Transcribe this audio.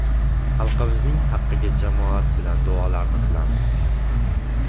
Xalqimizning haqqiga jamoat bilan duolarni qilamiz.